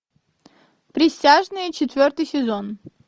присяжные четвертый сезон